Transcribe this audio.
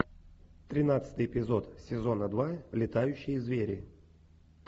тринадцатый эпизод сезона два летающие звери